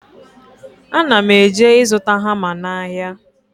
Ana m eje ịzụta hama n'ahịa